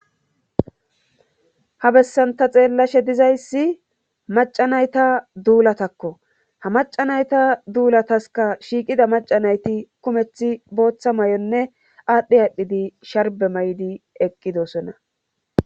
Ha bessanta xeellashe dizayssi maca nayta duulatakko ha maca nayta duulataska shiiqida maca nayti kumethi booththa may'onne aadhdhe aadhdhidi sharbe may'di eqqidosona.